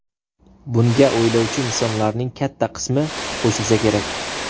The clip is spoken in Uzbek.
Bunga o‘ylovchi insonlarning katta qismi qo‘shilsa kerak.